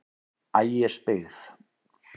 Ægisbyggð